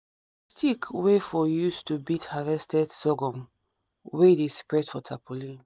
stick wey for use to beat harvested sorghum wey de spread for tarpaulin